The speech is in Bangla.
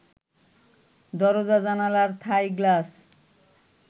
দরজা জানালার থাই গ্লাস